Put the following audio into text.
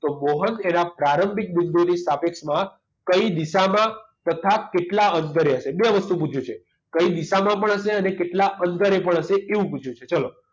તો મોહન એના પ્રારંભિક બિંદુની સાપેક્ષમાં કઈ દિશામાં તથા કેટલા અંતરે હશે બે વસ્તુ પૂછ્યું છે કઈ દિશામાં પણ હશે અને કેટલા અંતરે પણ હશે એવું પૂછ્યું છે ચલો